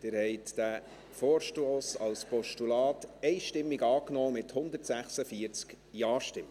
Sie haben diesen Vorstoss als Postulat einstimmig angenommen, mit 146 Ja-Stimmen.